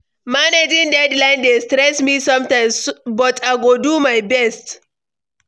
Managing deadlines dey stress me sometimes, but I go do my best.